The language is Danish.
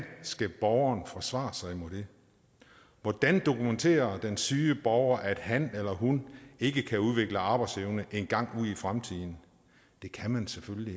skal borgeren forsvare sig imod det hvordan dokumenterer den syge borger at han eller hun ikke kan udvikle arbejdsevne engang ude i fremtiden det kan man selvfølgelig